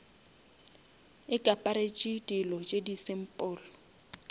ikaparetše dilo tše di simple